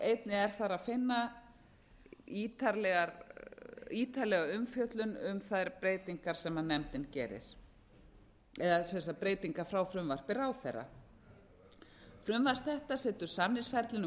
einnig er þar að finna ítarlega umfjöllun um þær breytingar sem nefndin gerir eða breytingar frá frumvarpi ráðherra frumvarp þetta setur samningshæfni um